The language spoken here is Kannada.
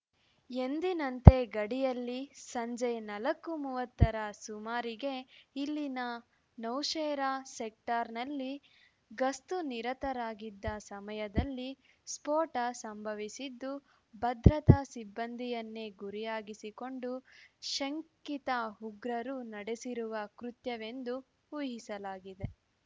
ಎಂದಿನಂತೆ ಗಡಿಯಲ್ಲಿ ಸಂಜೆ ನಲ್ಕು ಮೂವತ್ತರ ಸುಮಾರಿಗೆ ಇಲ್ಲಿನ ನೌಶೇರಾ ಸೆಕ್ಟರ್‌ನಲ್ಲಿ ಗಸ್ತು ನಿರತರಾಗಿದ್ದ ಸಮಯದಲ್ಲಿ ಸ್ಫೋಟ ಸಂಭವಿಸಿದ್ದು ಭದ್ರತಾ ಸಿಬ್ಬಂದಿಯನ್ನೇ ಗುರಿಯಾಗಿಸಿಕೊಂಡು ಶಂಕಿತ ಉಗ್ರರು ನಡೆಸಿರುವ ಕೃತ್ಯವೆಂದು ಊಹಿಸಲಾಗಿದೆ